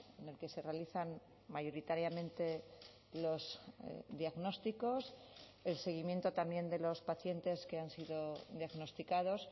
en el que se realizan mayoritariamente los diagnósticos el seguimiento también de los pacientes que han sido diagnosticados